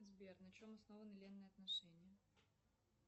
сбер на чем основаны ленные отношения